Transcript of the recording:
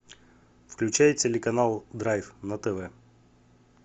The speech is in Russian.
включай телеканал драйв на тв